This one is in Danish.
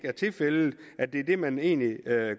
er tilfældet og at det er det man egentlig